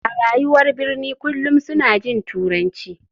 A rayuwar birni kullum suna jin turanci.